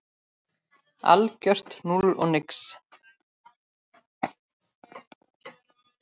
Algjört núll og nix.